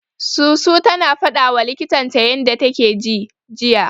Susu tana fadawa likitan ta yanda take ji, jiya.